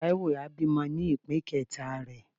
Taiwo a bimò ni ipín keta re.